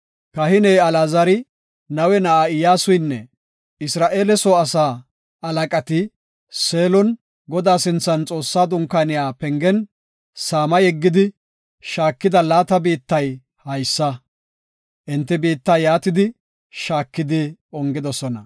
Kahiney Alaazari, Nawe na7aa Iyyasuynne Isra7eele soo asaa halaqati Seelon, Godaa sinthan Xoossaa dunkaaniya pengen saama yeggidi, shaakida laata biittay haysa. Enti biitta shaakidi ongidosona.